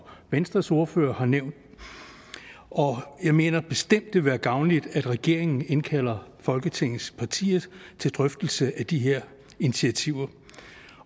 venstres ordfører har nævnt jeg mener bestemt det vil være gavnligt at regeringen indkalder folketingets partier til drøftelse af de her initiativer